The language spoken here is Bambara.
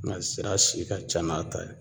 Nka sira si ka ca n'a ta ye